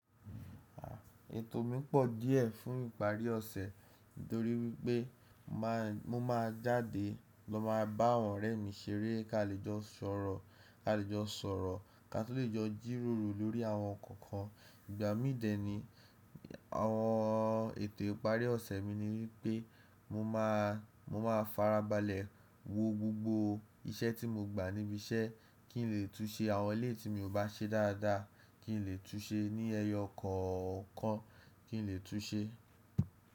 Ètò mi pọ̀ díẹ́ fún ìparí ọ̀sẹ̀ nítorí wípé ma n jáde lọ máa bá àwọn ọ̀rẹ́ mi ṣeré, ká lè jọ sọ̀rọ̀, ká lè jọ sọ̀rọ̀, ká tó lè jọ jìròrò lórí àwọn ǹkan kan. Ìgbà míde ni àwọn ètò ìparí ọ̀sẹ̀ mi ni wípé mo máa farabalẹ̀ wo gbogbo iṣẹ́ tí mo gba níbi iṣẹ́ kí n lè tún ṣe àwọn ilé tí mi ò bá ṣe dáadáa, kí n lè tún ṣe ní ẹyọ kọ̀ọ̀kan kí n lè tún ṣe.